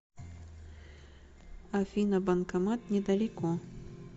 афина банкомат недалеко